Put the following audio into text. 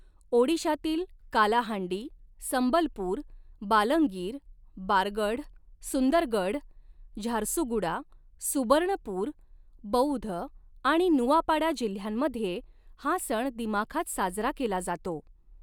ओडिशातील कालाहांडी, संबलपूर, बालंगीर, बारगढ, सुंदरगढ, झारसुगुडा, सुबर्णपूर, बौध आणि नुआपाडा जिल्ह्यांमध्ये हा सण दिमाखात साजरा केला जातो.